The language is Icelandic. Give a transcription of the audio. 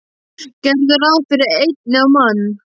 Gerðu ráð fyrir einni á mann.